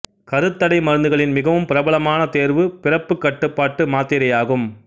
கருத்தடை மருந்துகளின் மிகவும் பிரபலமான தேர்வு பிறப்பு கட்டுப்பாட்டு மாத்திரையாகும்